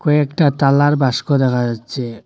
কয়েকটা তালার বাস্ক দেখা যাচ্ছে।